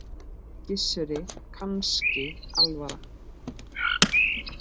Gissuri kannski alvara.